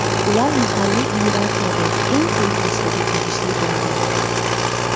Ular mahalliy iyerarxiyadagi eng quyi kastaga tegishli bo‘lgan.